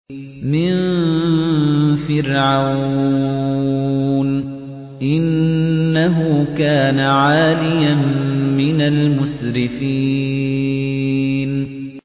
مِن فِرْعَوْنَ ۚ إِنَّهُ كَانَ عَالِيًا مِّنَ الْمُسْرِفِينَ